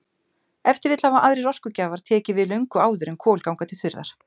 Ef til vill hafa aðrir orkugjafar tekið við löngu áður en kol ganga til þurrðar.